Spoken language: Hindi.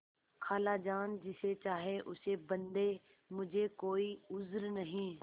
खालाजान जिसे चाहें उसे बदें मुझे कोई उज्र नहीं